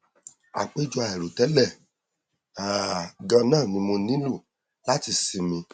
àpèjọ àìrò tẹlẹ um ganan ni mo nílò láti sinmi